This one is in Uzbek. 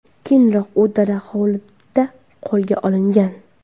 Keyinroq u dala hovlida qo‘lga olingan.